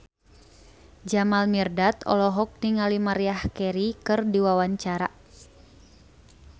Jamal Mirdad olohok ningali Maria Carey keur diwawancara